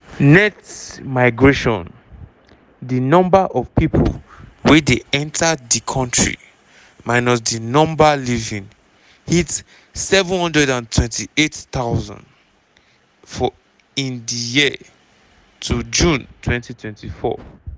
net migration (di number of pipo wey dey enta di country minus di number leaving) hit 728000 in di year to june 2024.